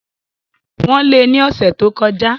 Wọ́n lé e ní ọ̀sẹ̀ tí o kọ já